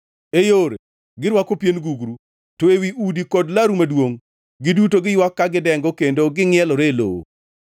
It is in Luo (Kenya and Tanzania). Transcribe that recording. E yore, girwako pien gugru; to ewi udi kod laru maduongʼ, giduto giywak ka gidengo kendo gingʼielore e lowo.